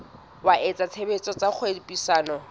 wa etsa tshebetso tsa kgwebisano